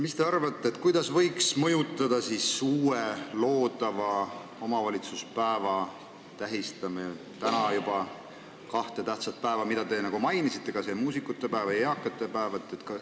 Mis te arvate, kuidas võiks uue omavalitsuspäeva tähistamine mõjutada teist kahte samal päeval peetavat päeva, mida te mainisite – need on muusikapäev ja eakate päev?